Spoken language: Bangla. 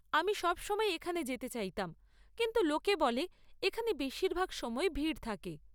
আমি সবসময় এখানে যেতে চাইতাম, কিন্তু লোকে বলে এখানে বেশিরভাগ সময়ই ভিড় থাকে।